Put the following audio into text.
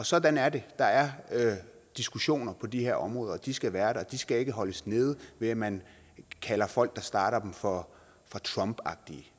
sådan er det der er diskussioner på de her områder de skal være der de skal ikke holdes nede ved at man kalder folk der starter dem for trumpagtige